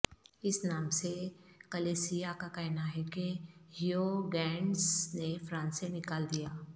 اس نام سے کلیسیا کا کہنا ہے کہ ہیوگینٹس نے فرانس سے نکال دیا